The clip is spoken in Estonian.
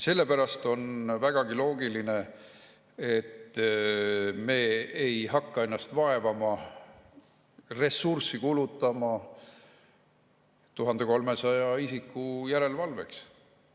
Sellepärast on vägagi loogiline, et me ei hakka ennast vaevama ja ressurssi kulutama 1300 isiku järelevalvele.